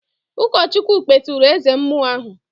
Ụkọchukwu kpeturu eze mmụọ ahụ